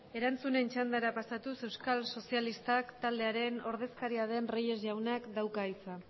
erantzunen txandara pasatuz euskal sozialista taldearen ordezkaria den reyes jaunak dauka hitza